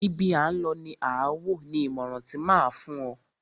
Ibi à ń lọ ni à wò, ni ìmọràn ti máa a fún o.